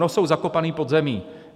No jsou zakopané pod zemí.